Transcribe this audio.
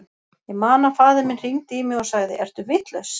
Ég man að faðir minn hringdi í mig og sagði, ertu vitlaus?